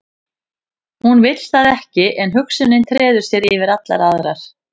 Hún vill það ekki en hugsunin treður sér yfir allar aðrar.